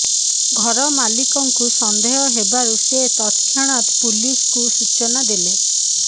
ଘର ମାଲିକଙ୍କୁ ସନ୍ଦେହ ହେବାରୁ ସେ ତତ୍କ୍ଷଣାତ ପୁଲିସ୍କୁ ସୂଚନା ଦେଲେ